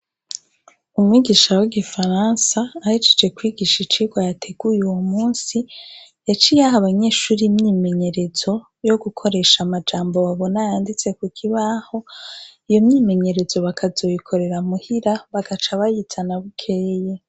Umwigisha w'igifaransa ahicije kwigisha icirwa yateguye uwo musi yaciyaho abanyeshuri myimenyerezo yo gukoresha amajambo babona yanditse ku kibaho iyo myimenyerezo bakazoyikorera muhira bagaca bayitana bukeye.